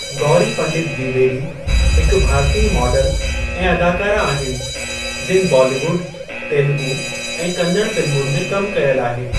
गौरी पंडित द्विवेदी हिकु भारतीय मॉडल ऐं अदाकारा आहिनि जिनि बॉलीवुड, तेलुगू ऐं कन्नड़ फ़िल्मुनि में कम कयलु आहे।